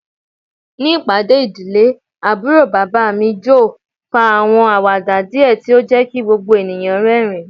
Ni ipade idile, Aburo baba mi Joe fa awọn awada diẹ ti o jẹ ki gbogbo eniyan rẹrin